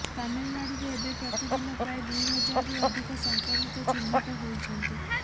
ତାମିଲନାଡୁରେ ଏବେ ପ୍ରତି ଦିନ ପ୍ରାୟ ଦୁଇ ହଜାରରୁ ଅଧିକ ସଂକ୍ରମିତ ଚିହ୍ନଟ ହୋଇଛନ୍ତି